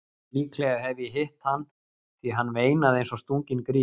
Líklega hef ég hitt hann því hann veinaði eins og stunginn grís.